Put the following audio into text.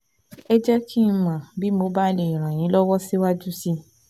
Ẹ jẹ́ kí n mọ̀ bí mo bá lè ràn yín lọ́wọ́ síwájú sí i